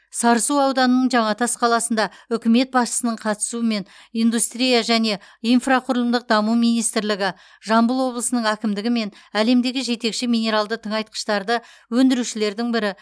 сарысу ауданының жаңатас қаласында үкімет басшысының қатысуымен индустрия және инфрақұрылымдық даму министрлігі жамбыл облысының әкімдігі мен әлемдегі жетекші минералды тыңайтқыштарды өндірушілердің бірі